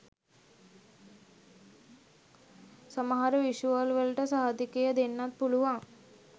සමහර විෂුවල් වලට සහතිකය දෙන්නත් පුළුවන්